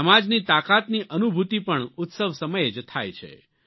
સમાજની તાકાતની અનુભૂતિ પણ ઉત્સવ સમયે જ થાય છે